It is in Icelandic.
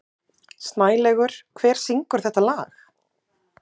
Snælaugur, hver syngur þetta lag?